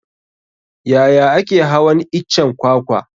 Yaya ake hawan iccen kwakwa?